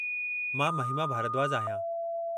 मां महिमा भारद्वाज आहियां।